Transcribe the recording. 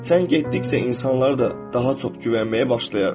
Sən getdikcə insanları da daha çox güvənməyə başlayarsan.